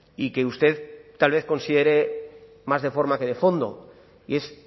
y que usted tal vez considere más de forma que de fondo y es